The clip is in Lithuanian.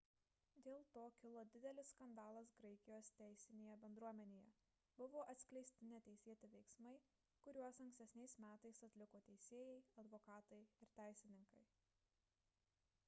dėl to kilo didelis skandalas graikijos teisinėje bendruomenėje – buvo atskleisti neteisėti veiksmai kuriuos ankstesniais metais atliko teisėjai advokatai ir teisininkai